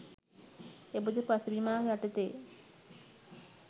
එබඳු පසුබිමක් යටතේ